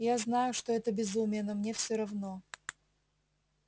я знаю что это безумие но мне все равно